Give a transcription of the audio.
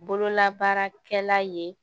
Bololabaarakɛla ye